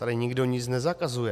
Tady nikdo nic nezakazuje.